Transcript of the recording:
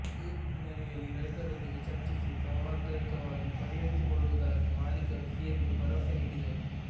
ಈ ಹಿನ್ನೆಲೆಯಲ್ಲಿ ರೈತರೊಂದಿಗೆ ಚರ್ಚಿಸಿ ಸೌಹಾರ್ದಯುತವಾಗಿ ಪರಿಹರಿಸಿಕೊಳ್ಳುವುದಾಗಿ ಮಾಲೀಕರು ಸಿಎಂಗೆ ಭರವಸೆ ನೀಡಿದರು